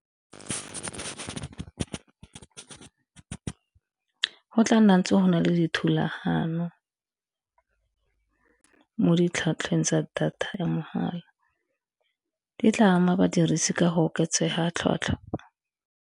Go tla nna ntse go na le dithulagano mo ditlhatlhweng tsa data ya mahala di tla ama badirisi ka go oketsega tlhwatlhwa.